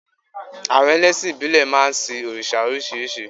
Àwon elésìn ìbílè máa n sin òrìsà orísírìsí